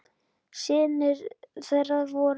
Synir þeirra voru